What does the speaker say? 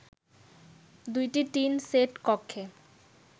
দুইটি tin shed কক্ষে